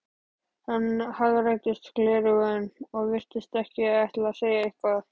Hann hagræddi gleraugunum og virtist ætla að segja eitthvað.